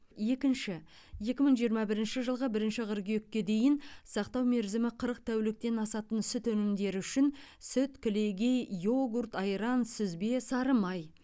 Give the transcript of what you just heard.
екінші екі мың жиырма бірінші жылғы бірінші қыркүйекке дейін сақтау мерзімі қырық тәуліктен асатын сүт өнімдері үшін сүт кілегей йогурт айран сүзбе сары май